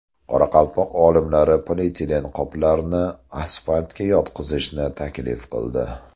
Qoraqalpoq olimlari polietilen qoplarni asfaltga yotqizishni taklif qildi.